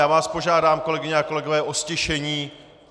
Já vás požádám, kolegyně a kolegové o ztišení.